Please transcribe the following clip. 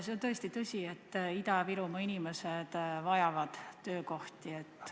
See on tõesti tõsi, et Ida-Virumaa inimesed vajavad töökohti.